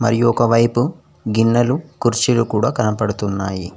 మరి ఒక వైపు గిన్నెలు కుర్చీలు కూడా కనబడుతున్నాయి.